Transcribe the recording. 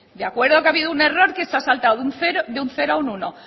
de acuerdo que ha habido un error que se ha saltado de un cero a un uno